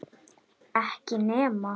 Ekki nema?